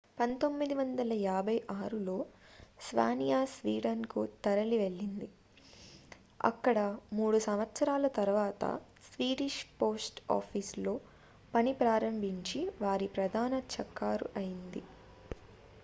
1956లో స్వానియా స్వీడన్ కు తరలివెళ్లింది అక్కడ మూడు సంవత్సరాల తరువాత స్వీడిష్ పోస్ట్ ఆఫీస్ లో పని ప్రారంభించి వారి ప్రధాన చెక్కారుఅయ్యారు